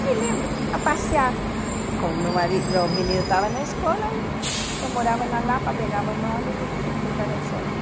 Eu me lembro, a passear, com o meu marido o menino estava na escola, eu eu morava na Lapa, pegava no ônibus me fui para o centro.